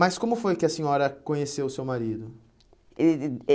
como foi que a senhora conheceu o seu marido? Ele